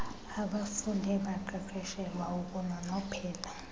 abafunde baqeqeshelwa ukunonophela